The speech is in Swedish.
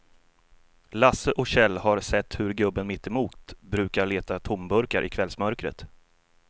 Lasse och Kjell har sett hur gubben mittemot brukar leta tomburkar i kvällsmörkret.